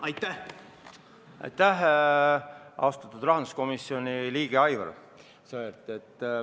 Aitäh, austatud rahanduskomisjoni liige Aivar!